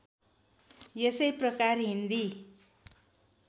यसै प्रकार हिन्दी